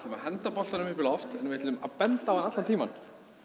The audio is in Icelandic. að henda boltanum upp í loft en við ætlum að benda á hann allan tímann